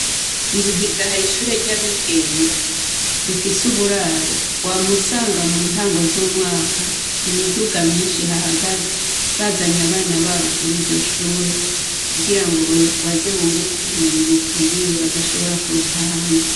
Ibuhiga hari ishure ry'abigenga rifise uburaro. Wama usanga mu ntango z'umwaka imiduga myinshi ihahagaze, bazanye abana babo kuri iryo shure kugirango baze bunguke ko ubumenyi bukwiriye, badashobora kuronka ahandi.